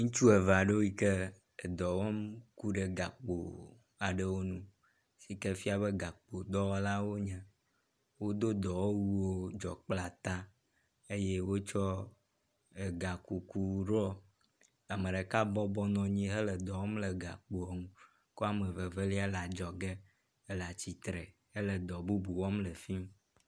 Ŋutsu eve aɖewo yi ke dɔ wɔm ku ɖe gakpowo aɖe ŋu. Yi ke fia be gakpodɔwɔlawo wonye. Wodo dɔwɔwuwo dzɔkpleta eye wotsɔ gakuku ɖɔ. Ame ɖeka bɔbɔ nɔ anyi hele dɔ wɔm le gakpo ŋu kea me vevelia le adzɔge hele atsitre hele dɔ bubu wɔm le afi ma.